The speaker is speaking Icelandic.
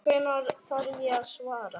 Hvenær þarf ég að svara?